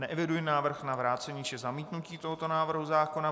Neeviduji návrh na vrácení či zamítnutí tohoto návrhu zákona.